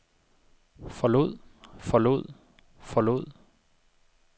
forlod forlod forlod